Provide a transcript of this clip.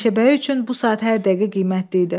Meşəbəyi üçün bu saat hər dəqiqə qiymətli idi.